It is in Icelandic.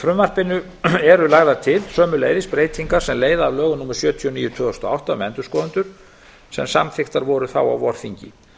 frumvarpinu eru lagðar til sömuleiðis breytingar sem leiða af lögum númer sjötíu og níu tvö þúsund og átta um endurskoðendur sem samþykktar voru þá á vorþingi